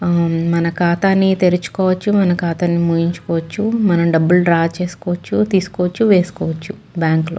ఆ మన ఖాతాని తెరుచుకోవచ్చు మన ఖాతాని మూయించుకోవచ్చు. మనం డబ్బులు డ్రా చేసుకోవచ్చు తీసుకోవచ్చు వేసుకోవచ్చు బ్యాంక్ లో.